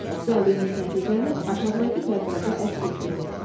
Gəldiyiniz nəticəni aşağıdakı cədvəldə əks etdirin.